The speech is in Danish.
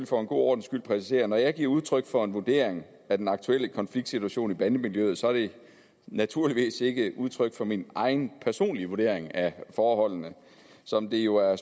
for en god ordens skyld præcisere at når jeg giver udtryk for en vurdering af den aktuelle konfliktsituation i bandemiljøet så er det naturligvis ikke udtryk for min egen personlige vurdering af forholdene som det jo er